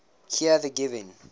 here the giving